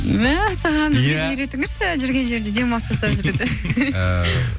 мәссаған жүрген жерде демалыс жасап жүруді